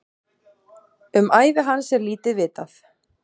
Um ævi hans er lítið vitað.